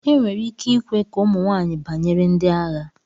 enwere ike ikwe ka ụmụ nwanyị banyere ndi agha